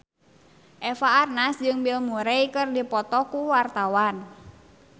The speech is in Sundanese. Eva Arnaz jeung Bill Murray keur dipoto ku wartawan